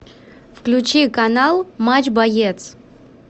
включи канал матч боец